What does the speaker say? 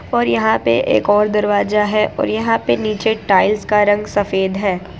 और यहा पे एक और दरवाजा है और यहा पे नीचे टाइल्स का रंग सफेद है।